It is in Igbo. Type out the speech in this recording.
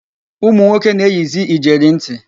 Ụmụnwoke na-eyizi ijeri ntị.